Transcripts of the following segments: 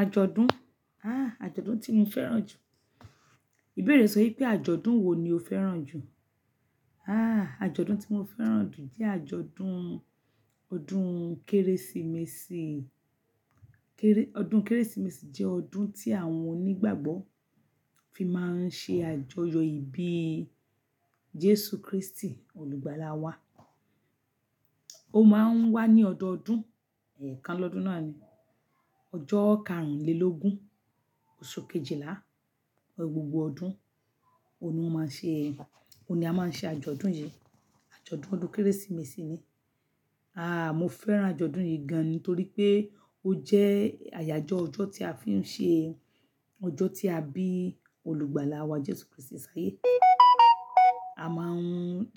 Àjọ̀dún? Àà àjọ̀dún tí mo fẹ́ràn jù. Ìbéèrè sọ pé àjọ̀dún wo ni o fẹ́ràn jù? Àà àjọ̀dún tí mo fẹ́ràn jù jẹ́ àjọ̀dún ọdún Kérésìmesì. Kéré-- ọdún Kérésìmesì jẹ́ ọdún tí àwọn onígbàgbọ́ fi máa ń ṣe àjọyọ̀ ìbí Jésù Kristi olùgbàlà wá. Ó máa ń wá ní ọdọọdún, ẹ̀ẹ̀kan lọ́dún náà ni, ọjọ́ karùnlélógún oṣù kejìlá gbogbo ọdún, òun ni wọ́n máa ń ṣe, òun ni a máa ń ṣe àjọ̀dún yìí, àjọ̀dún ọdún Kérésìmesì ni. Àà mo fẹ́ràn àjọ̀dún yìí gan an nítorí pé ó jẹ́ àyájọ́ ọjọ́ tí a fi ń ṣe, ọjọ́ tí a bí olùgbàlà wá Jésù Kristi ṣáyé. A máa ń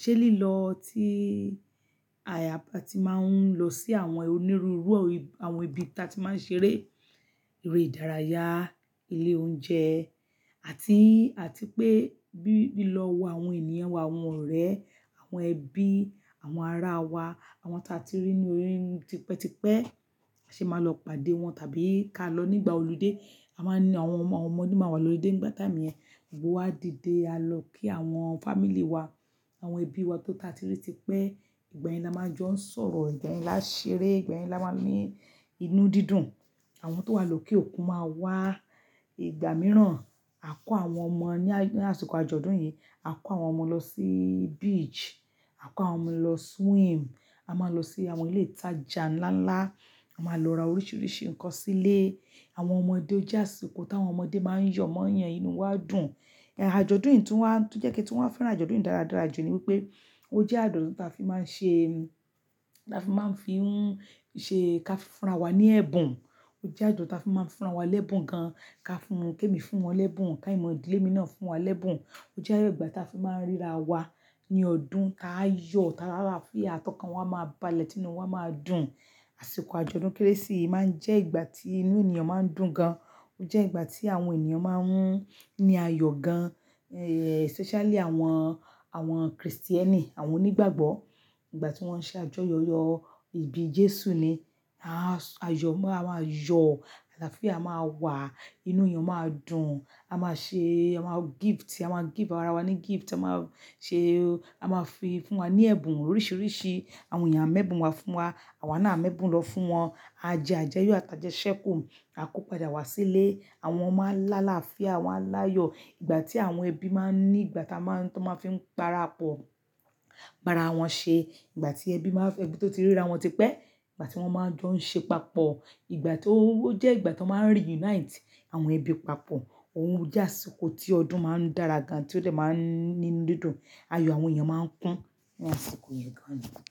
ṣe lílọ tí àyàpá tí máa ń lọ sí àwọn onírúurú àwọn ibi tí a ti máa ń ṣeré, eré ìdárayá, ilé oúnjẹ àti, àti pé bí i lọ wo àwọn ènìyàn wa, àwọn ọ̀rẹ́, àwọn ẹbí, àwọn ará wa, àwọn tí a ti rí ní orí tipẹ́tipẹ́, ṣe máa lọ pàdé wọn tàbí ká lọ nígbà olúdé. A máa ní àwọn ọmọ, àwọn ọmọdé máa wà lolúdé nígbà time yẹn, gbogbo wa dìde, a lọ kí àwọn family wa, àwọn ẹbí wa tó ta ti rí tipẹ́. Ìgbà yen la máa jọ ń sọ̀rọ̀, ìgbà yen la ṣeré, ìgbà mìíràn a máa ní inú dídùn. Àwọn tó wà lókè òkun máa wá, ìgbà mìíràn a kó àwọn ọmọ ní àsìkò àjọ̀dún yìí, a kó àwọn ọmọ lọ sí beach, a kó àwọn ọmọ lọ swim, a máa lọ sí àwọn ilé ìtajà ńlá ńlá, a máa lọ ra oríṣiríṣi nǹkan sílé. Àwọn ọmọdé ó jé àsìkò t'àwọn ọmọdé máa ń yọ̀ mọ́yan inú won dùn. Ẹ̀ Àjọ̀dún yìí tún wá, tó jẹ́ kí n tun wá fẹ́ràn àjọ̀dún yìí dáradára jù ni wípé ó jẹ́ àjọ̀dún tí a fi máa ń ṣe, tí a fi máa ń fi ń ṣe ká fi fúnra wa ní ẹ̀bùn. Ó jẹ́ àjọ̀dún tí a fi máa ń fúnra wa lẹ́bùn gan an, ká fún-- ké mi fún wọn lẹ́bùn, ká mọ̀ idílé mi náà fún wa lẹ́bùn. Ó jẹ́ igbàá tí a fi máa ń ríra wa ní ọdún, tá yọ̀, tá láàláfíà, tọkàn wa máa balẹ́ tínu wa máa dùn. Àsìkò àjọ̀dún Kérésì máa ń jẹ́ ìgbà tí inú ènìyàn máa ń dùn gan an. Ó jẹ́ ìgbà tí àwọn ènìyàn máa ń ní ayọ̀ gan an, ẹ̀ especially àwọn, àwọn Kristẹni, àwọn onígbàgbọ́ nígbà tí wọ́n ń ṣe àjọyọ̀ ìbí Jésù ni. Aá sọ ayọ̀, a máa yọ̀, aláàfíà máa wà, inú ènìyàn máa dùn, a máa ṣe, a máa gift, a máa gift ara wa ní gift, a máa ṣe, a máa fi fún wa ní ẹ̀bùn oríṣiríṣi. Àwọn èèyàn a méébún wa fún wa, àwa náà a méébún lọ fún wọn. A jẹ àjẹyọ̀ àtàjẹ ṣẹ́kù, a kó padà wá sílé. Àwọn ọmọ á láàláfíà, wọn á láyọ̀. Ìgbà tí àwọn ẹbí máa ń ní ìgbà táa máa ń, tó máa fi ń para pò, para wọn ṣe. Ìgbà tí ẹbí máa fẹ́, ẹbí tó ti ríra wọn tipẹ́, ìgbà tí wọ́n máa ń jọ ń ṣe papọ̀. Ìgbà tó, ó jẹ́ ìgbà tó máa ń reunite àwọn ẹbí papọ̀. Òun jẹ́ àsìkò tí ọdún máa ń dára gan an, tí ó tẹ̀ máa ń ní dídùn, ayọ̀ àwọn èèyàn máa ń kún ní àsìkò yẹn gan an.